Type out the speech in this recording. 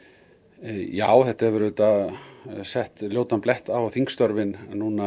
já þetta hefur auðvitað sett ljótan blett á þingstörfin